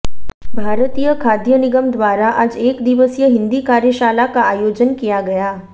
भारतीय खाद्य निगम द्वारा आज एक दिवसीय हिन्दी कार्यशाला का आयोजन किया गया